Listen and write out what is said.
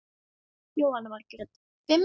Jóhanna Margrét: Fimm?